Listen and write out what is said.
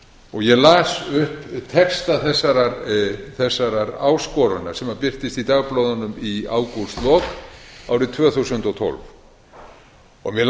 og ég las upp texta þessarar áskorunar sem birtist í dagblöðunum í ágústlok árið tvö þúsund og tólf mig langar